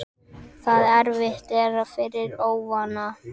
Það erfitt er fyrir óvana.